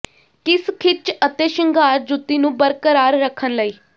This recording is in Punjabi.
ਕਿਸ ਿਖੱਚ ਅਤੇ ਸ਼ਿੰਗਾਰ ਜੁੱਤੀ ਨੂੰ ਬਰਕਰਾਰ ਰੱਖਣ ਲਈ